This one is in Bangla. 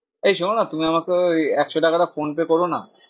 এই শোনোনা তুমি আমাকে ওই একশো টাকাটা ফোনপে করোনা।